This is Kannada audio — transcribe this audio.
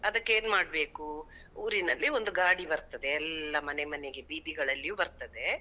ಅದಕ್ಕ್ ಏನ್ ಮಾಡ್ಬೇಕು? ಊರಿನಲ್ಲಿ ಒಂದು ಗಾಡಿ ಬರ್ತದೆ, ಎಲ್ಲ ಮನೆ ಮನೆಗೆ ಬೀದಿಗಳಲ್ಲಿಯೂ ಬರ್ತದೇ.